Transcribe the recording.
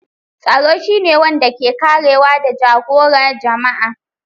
Tsaro shi ne wanda ke karewa da jagora jama'a.